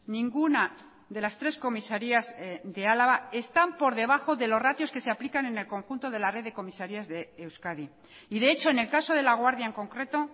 ninguna de las tres comisarías de álava están por debajo de los ratios que se aplican en el conjunto de la red de comisarías de euskadi y de hecho en el caso de laguardia en concreto